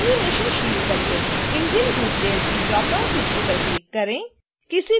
engine group layer की drop down सूची पर क्लिक करें